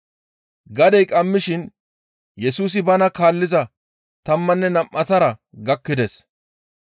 Gadey qammishin Yesusi bana kaalliza tammanne nam7atara gakkides.